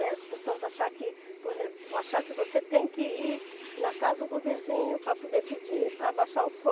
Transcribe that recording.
As pessoas achar que, por exemplo, achar que você tem que ir na casa do vizinho para poder pedir para abaixar o som.